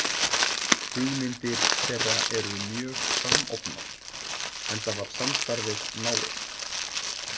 Hugmyndir þeirra eru mjög samofnar, enda var samstarfið náið.